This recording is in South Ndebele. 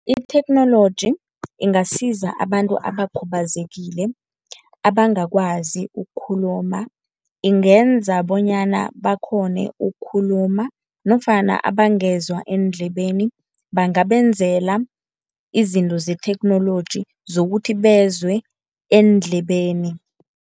Itheknoloji ingasiza abantu abakhubazekile abangakwazi ukukhuluma, ingenza bonyana bakghone ukukhuluma nofana abangezwa eendlebeni, bangabenzela izinto zetheknoloji zokuthi bezwe eendlebeni.